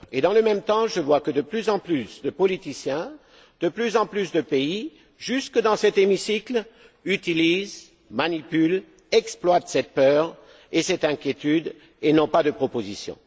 Et dans le même temps, je vois que de plus en plus de politiciens, de plus en plus de pays, jusque dans cet hémicycle, utilisent, manipulent, exploitent cette peur et cette inquiétude et n'ont pas de propositions.